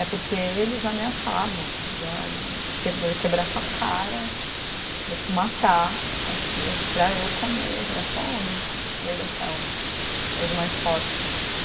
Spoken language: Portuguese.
É porque eles ameaçavam, diziam, ó, vou vou quebrar tua cara, vou te matar aqui, é para eu comer, é só homem, lei da selva, lei do mais forte.